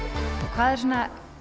hvað er svona